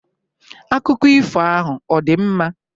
Akụkọ ifo ahụ ọ̀ dị mma?